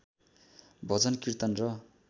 भजन किर्तन र